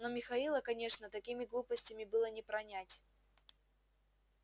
но михаила конечно такими глупостями было не пронять